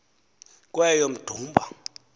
kweyomdumba